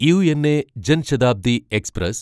UNA Jan Shatabdi express